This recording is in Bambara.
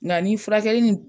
Nka ni furakɛli nin